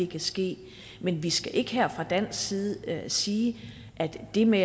kan ske men vi skal ikke her fra dansk side sige at det med